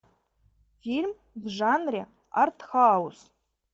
фильм в жанре артхаус